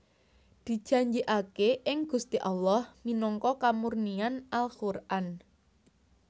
Dijanjikake ing Gusti Allah minangka kamurnian Al Quran